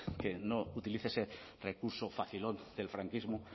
que no utilice ese recurso facilón del franquismo